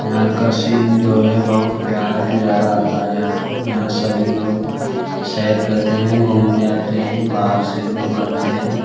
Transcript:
यहाँ का सिन जो है बहुत प्यारा नजारा आता है यहाँ पे यहाँ सभी लोग सैर करते हैं घुमने आते है बाहर से लोग आते है।